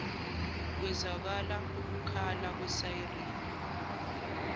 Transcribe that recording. kwezwakala ukukhala kwesayirini